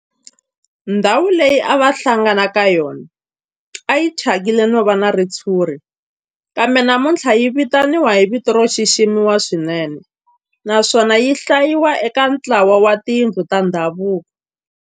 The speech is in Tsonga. Ndhawu leyi a va hlangana ka yona a yi thyakile no va na ritshuri kambe namuntlha yi vitaniwa hi vito ro xiximeka swinene naswona yi hlayiwa eka ntlawa wa tindhawu ta ndhavuko.